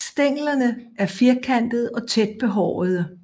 Stænglerne er firkantede og tæt behårede